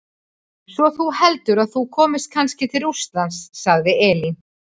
Svo þú heldur að þú komist kannski til Rússlands, sagði Elín.